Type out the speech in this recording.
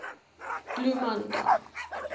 bloemanda